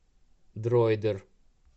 дроидер